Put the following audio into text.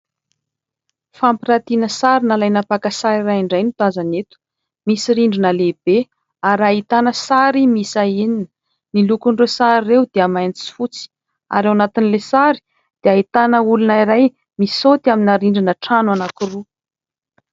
Fampiratiana sary nalaina mpaka sary iray indray no tazana eto. Misy rindrina lehibe ary ahitana sary miisa enina. Ny lokon'ireo sary ireo dia mainty sy fotsy ary ao anatin'ilay sary dia ahitana olona iray misaoty amina rindrina trano anankiroa.